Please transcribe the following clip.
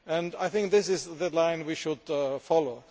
I think this is the line we should follow.